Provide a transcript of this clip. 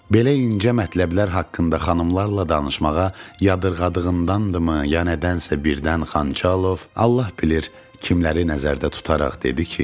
Belə incə mətləblər haqqında xanımlarla danışmağa yadırğadığındandırmı, ya nədənsə birdən Xançalov Allah bilir, kimləri nəzərdə tutaraq dedi ki,